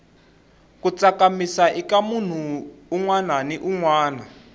ku tsakamisa ika munhu unwana ni unwana